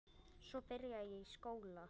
Svo byrjaði ég í skóla.